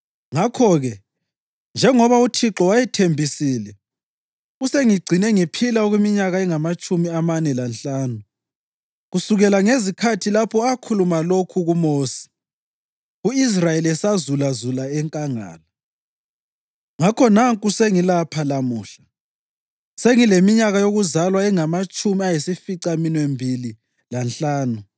Ngakho-ke, njengoba uThixo wayethembisile, usengigcine ngiphila okweminyaka engamatshumi amane lanhlanu kusukela ngezikhathi lapho akhuluma lokhu kuMosi, u-Israyeli esazulazula enkangala. Ngakho nanku sengilapha lamuhla, sengileminyaka yokuzalwa engamatshumi ayisificaminwembili lanhlanu!